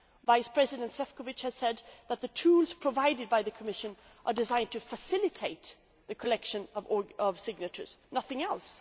Vice President Šefčovič has said that the tools provided by the Commission are designed to facilitate the collection of signatures nothing